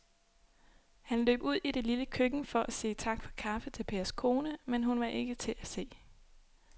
Han løb ud i det lille køkken for at sige tak for kaffe til Pers kone, men hun var ikke til at se.